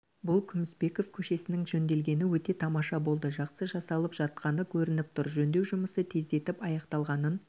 бұл күмісбеков көшесінің жөнделгені өте тамаша болды жақсы жасалып жатқаны көрініп тұр жөндеу жұмысы тездетіп аяқталғанын